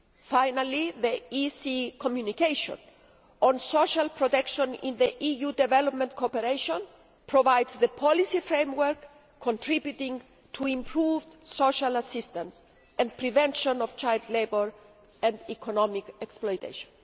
Finally, the Commission's communication on social protection in EU development cooperation provides the policy framework contributing to improved social assistance and the prevention of child labour and economic exploitation.